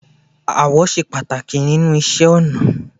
Ààwọ̀ ṣe pàtàkì nínú iṣẹ́ ọnà